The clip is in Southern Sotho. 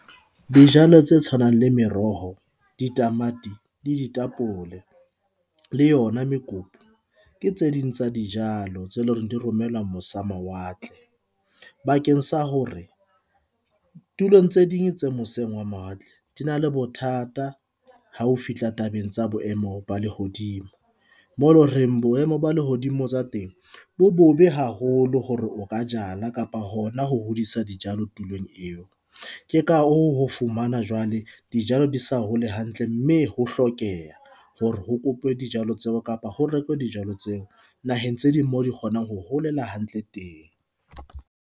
Dijalo tse tshwanang le meroho, ditamati le ditapole le yona mekopu, ke tse ding tsa dijalo tse leng hore di romelwa mose mawatle, bakeng sa hore tulong tse ding tse moseng wa mawatle di na le bothata. Ha ho fihla tabeng tsa boemo ba lehodimo, mo eleng reng boemo ba lehodimo tsa temo, bo bobe haholo hore o ka jala kapa hona ho hodisa dijalo tulong eo. Ke ka hoo ho fumana jwale dijalo di sa ho le hantle mme ho hlokeha hore ho kopuwe dijalo tseo kapa ho rekwe dijalo tseo naheng tse ding moo di kgonang ho holela hantle teng.